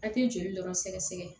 A tɛ joli dɔrɔn sɛgɛsɛgɛ